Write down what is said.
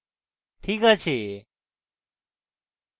ok আছে ok নজর দেখি